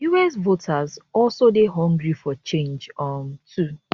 us voters also dey hungry for change um too